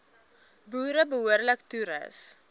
boere behoorlik toerus